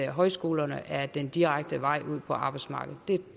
højskolerne er den direkte vej ud på arbejdsmarkedet